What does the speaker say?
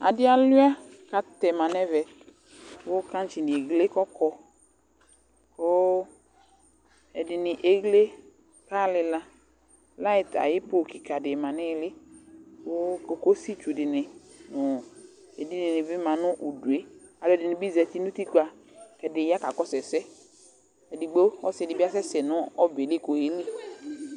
Adɩ alʋɩa kʋ atɛma nʋ ɛvɛ kʋ kaŋtsɩnɩ eɣle kʋ ɔkɔ kʋ ɛdɩnɩ eɣle kaɣa lɩka Layɩt ayʋ po kɩka dɩ ma nʋ ɩɩlɩ kʋ kokositsu dɩnɩ nʋ edinɩ bɩ ma nʋ udu yɛ Alʋɛdɩnɩ bɩ zati nʋ utikpǝ kʋ ɛdɩ ya kakɔsʋ ɛsɛ Edigbo, ɔsɩ dɩ bɩ asɛsɛ nʋ ɔbɛ yɛ li kʋ ɔyeli